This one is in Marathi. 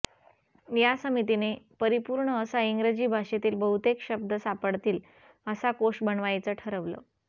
या समितीने परिपूर्ण असा इंग्रजी भाषेतील बहुतेक शब्द सापडतील असा कोश बनवायचं ठरवलं